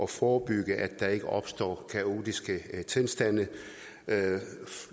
forebygge at der ikke opstår kaotiske tilstande